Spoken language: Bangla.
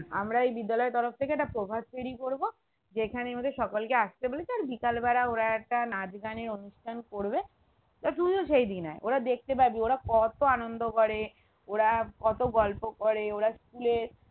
আমার এই বিদ্যালয়ের তরফ থেকে একটা প্রভাতফেরি করবো যেখানে এই আমাদের সকলকে আস্তে বলেছি আর বিকালবেলা ওরা একটা নাচগানের অনুষ্ঠান করবে তা তুইও সেই দিন আয় ওরা দেখতে পাবি ওরা কত আনন্দ করে ওরা কত গল্প করে ওরা school এ